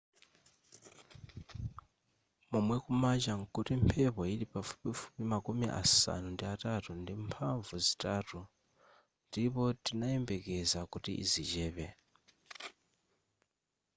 momwe kumacha nkuti mphepo yili pafupifupi makumi asanu ndi atatu ndi mphamvu zitatu ndipo tinayembekeza kuti zichepa